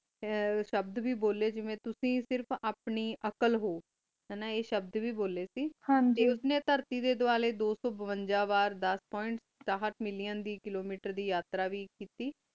ਆ ਸ਼ਬਦ ਵ ਬੋਲੀ ਕ ਜੇਵੀ ਤੁਸੀਂ ਆਪਣੀ ਅਕ਼ਾਲ ho ਹਨਾ ਆ ਸ਼ਰਦ ਵ ਬੋਲੀ ਕ ਹਨ ਜੀ ਟੀ ਉਸ ਨੀ ਤੈਰਤੀ ਡੀ ਦਾਵਾਲ੍ਯ ਦੋ ਸੋ ਬਵੰਜਾ ਵਾਰ ਦਸ ਪੋਇੰਟ ਕਰਾਹਟ ਮਿਲਿਓਂ ਵੇ ਕਿਲੋਮੀਟਰ ਦੀ ਆਤ੍ਰਾ ਵ ਕੀਤੀ